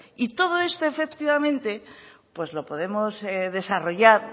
y todo esto efectivamente pues lo podemos desarrollar